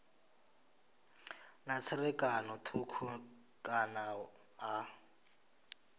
na tserakano thukhu kana ha